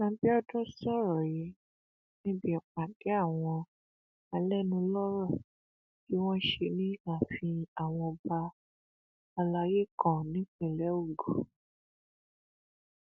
àbíọdún sọrọ yìí níbi ìpàdé àwọn alẹnulọrọ tí wọn ṣe ní ààfin àwọn ọba alayé kan nípínlẹ ogun